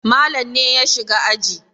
Malam ne ya shiga aji.